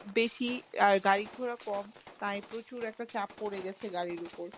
বেশি আর গাড়ি ঘোড়া কম তাই প্রচুর একটা চাপ পরে গেছে গাড়ির উপর।